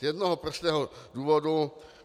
Z jednoho prostého důvodu.